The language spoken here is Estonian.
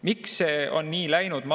Miks see on nii läinud?